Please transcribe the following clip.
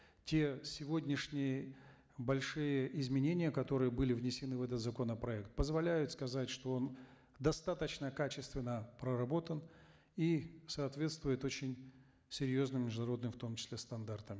те сегодняшние большие изменения которые были внесены в этот законопроект позволяют сказать что он достаточно качественно проработан и соответствует очень серьезным международным в том числе стандартам